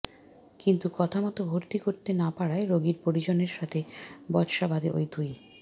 কিন্তু কথা মতো ভর্তি করতে না পারায় রোগীর পরিজনের সঙ্গে বচসা বাধে ওই দুই